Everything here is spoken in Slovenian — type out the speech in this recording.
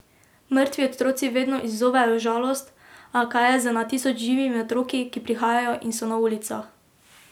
Mrtvi otroci vedno izzovejo žalost, a kaj je z na tisoče živimi otroki, ki prihajajo in so na ulicah.